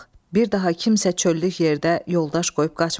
Bir daha kimsə çöllük yerdə yoldaş qoyub qaçmasın.